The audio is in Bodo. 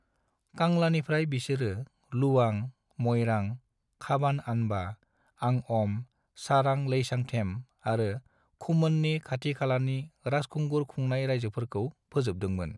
कांलानिफ्राय बिसोरो लुवां, मइरां, खाबान-आनबा, आंअम, सारां-लेइसांथेम आरो खुमोनननि खाथि खालानि राजखुंगुर खुंनाय रायजोफोरखौ फोजोबदोंमोन।